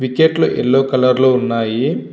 Wicket లు yellow colour లో ఉన్నాయి.